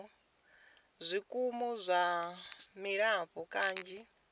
zwikimu zwa dzilafho kanzhi zwi